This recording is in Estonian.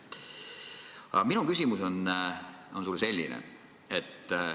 Aga minu küsimus sulle on selline.